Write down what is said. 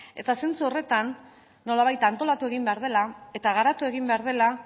eta zentzu horretan nolabait antolatu egin behar dela eta garatu egin behar dela